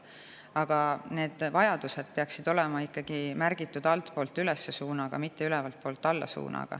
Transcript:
Aga need vajadused peaksid olema ikkagi märgitud suunaga altpoolt üles, mitte ülevaltpoolt alla.